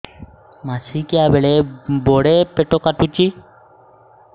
ମାସିକିଆ ବେଳେ ବଡେ ପେଟ କାଟୁଚି